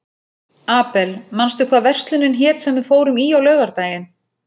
Abel, manstu hvað verslunin hét sem við fórum í á laugardaginn?